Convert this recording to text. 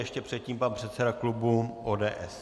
Ještě předtím pan předseda klubu ODS.